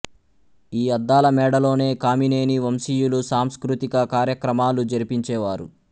ఈ అద్దాల మేడలోనే కామినేని వంశీయులు సాంస్కృతిక కార్యక్రమాలు జరిపించేవారు